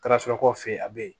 Taara suraka fe yen a be ye